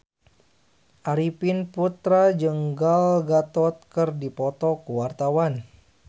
Arifin Putra jeung Gal Gadot keur dipoto ku wartawan